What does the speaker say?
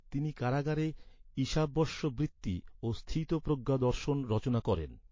তিনি কারাগারে ঈশাবস্যবৃত্তি ও স্থিতপ্রজ্ঞা দর্শন রচনা করেন।